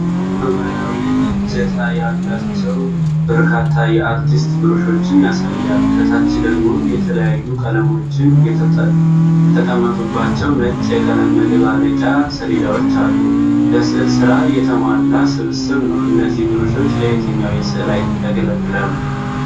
ሰማያዊ እጀታ ያላቸው በርካታ የአርቲስት ብሩሾችን ያሳያል። ከታች ደግሞ የተለያዩ ቀለሞች የተቀመጡባቸው ነጭ የቀለም መደባለቂያ ሰሌዳዎች አሉ። ለሥዕል ሥራ የተሟላ ስብስብ ነው። እነዚህ ብሩሾች ለየትኛው የሥዕል አይነት ያገለግላሉ?